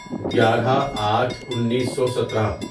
گیارہ آٹھ انیسو سترہ